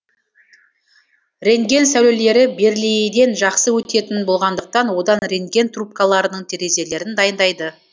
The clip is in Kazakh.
рентген сәулелері бериллийден жақсы өтетін болғандықтан одан рентген трубкаларының терезелерін дайындайды